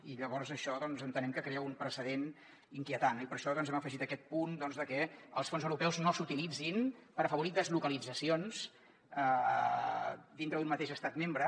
i llavors això doncs entenem que crea un precedent inquietant no i per això hem afegit aquest punt de que els fons europeus no s’utilitzin per afavorir deslocalitzacions dintre d’un mateix estat membre